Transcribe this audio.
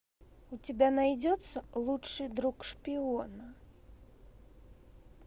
у тебя найдется лучший друг шпиона